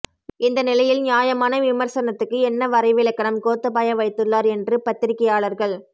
இந்த நிலையில் நியாயமான விமர்சனத்துக்கு என்ன வரைவிலக்கணம் கோத்தபாய வைத்துள்ளார் என்று பத்திரிகையாளர்கள்